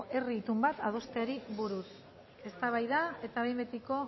herri itun bat adosteari buruz eztabaida eta behin betiko